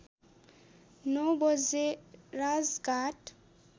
नौ बजे राजघाट